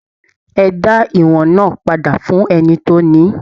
E da ìwọ̀n náà padà fún ẹni tó ní!